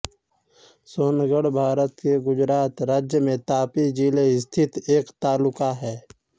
सोनगढ़ भारत के गुजरात राज्य में तापी जिले स्थित एक तालुका है